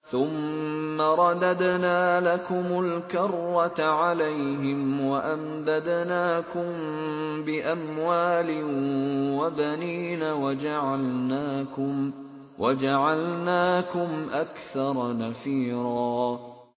ثُمَّ رَدَدْنَا لَكُمُ الْكَرَّةَ عَلَيْهِمْ وَأَمْدَدْنَاكُم بِأَمْوَالٍ وَبَنِينَ وَجَعَلْنَاكُمْ أَكْثَرَ نَفِيرًا